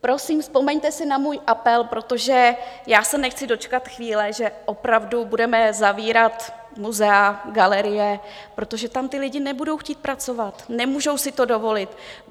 Prosím, vzpomeňte si na můj apel, protože já se nechci dočkat chvíle, že opravdu budeme zavírat muzea, galerie, protože tam ti lidé nebudou chtít pracovat, nemůžou si to dovolit.